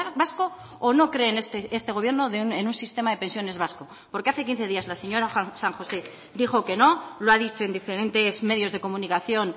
vasco o no creen este gobierno en un sistema de pensiones vasco porque hace quince días la señora san josé dijo que no lo ha dicho en diferentes medios de comunicación